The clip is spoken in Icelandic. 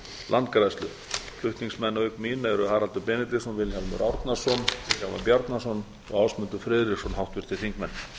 landgræðslu flutningsmenn auk mín eru haraldur benediktsson vilhjálmur árnason vilhjálmur bjarnason og ásmundur friðriksson háttvirtir þingmenn